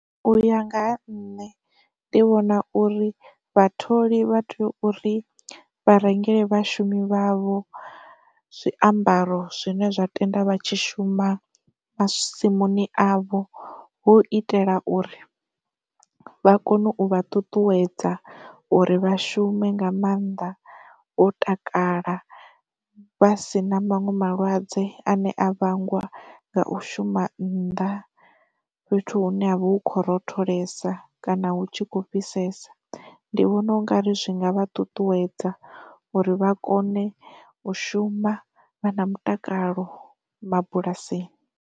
Uya nga ha nṋe, ndi vhona uri vhatholi vha tea uri vha rengele vhashumi vhavho zwiambaro zwine zwa tenda vha tshi shuma masimuni avho hu itela uri vha kone u vha ṱuṱuwedza uri vha shume nga mannḓa vho takala vha si na maṅwe malwadze ane a vhangwa nga u shuma nnḓa fhethu hune ha vha hu khou rotholela kana hu tshi khou fhisesa. Ndi vhona ungari zwi nga vha ṱuṱuwedza uri vha kone u shuma vha na mutakalo mabulasini.